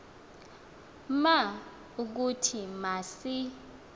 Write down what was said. ma ukuthi masi